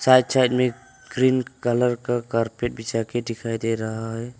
Side side में green colour का कार्पेट बिछा के दिखाई दे रहा है।